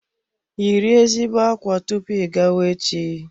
Yiri ezigbo ákwá tupu ị gawa echi.